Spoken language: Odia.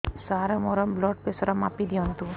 ସାର ମୋର ବ୍ଲଡ଼ ପ୍ରେସର ମାପି ଦିଅନ୍ତୁ